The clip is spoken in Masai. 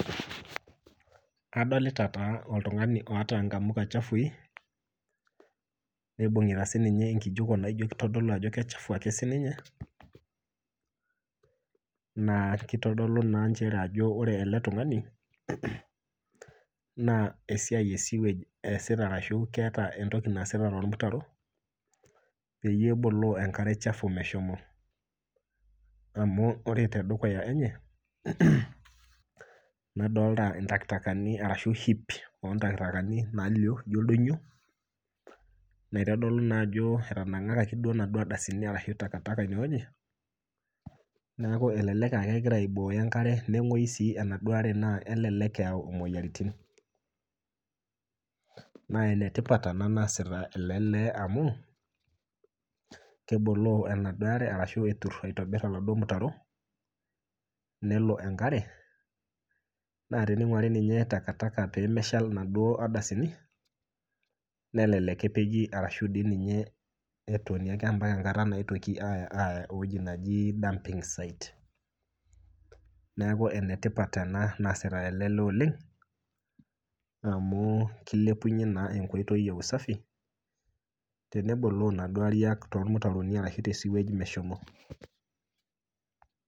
Adolita taa oltungani oota nkamuka chafui nibungita enkijiko naitodolu naijo kichafu siininye ,naa kitodolu naa nchere ore ele tungani naa esiai esiwage eesita orashu keeta entoki naaasita tormutaro peyie eboloo enkare meshomo ,amu ore tendukuya enye nadolita ntaktakani nalio naijo oldonyo naitodolu naa ajo etanangakaki nadua ardasini shu takatakaineweji ,neeku elelek aa kegira aibooyo enkare nengoyu sii enaduo are naa kelelek eyau moyiaritin. naa enetipat ena naaasita ele lee amu keboloo enaduo are ashu etur aitobir oladuo mutaro nelo enkare naa tiningwari niye takataka pee meshal naduo ardasini nelelek epeji ashu etoni mpaka enkata naetuoki aya eweji neji dumping site. neeku enetipat ena naaasita ele lee oleng amu kilepunye naa enkoitoi eusafi teneboloo naa Kuna ariak tesiwage meshomo.